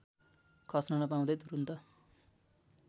खस्न नपाउँदै तुरुन्त